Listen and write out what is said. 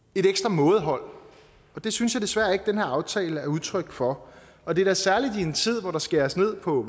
mådehold og det synes jeg desværre ikke den her aftale er udtryk for og da særligt i en tid hvor der skæres ned på